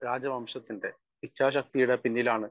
speaker 1 രാജാവംശത്തിൻറെ ഇച്ഛാശക്തിയുടെ പിന്നിലാണ്